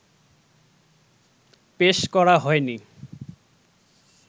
পেশ করা হয়নি